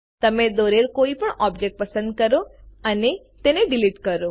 તમે દોરેલ કોઈપણ ઑબ્જેક્ટ પસંદ કરો અને તેને ડીલીટ કરો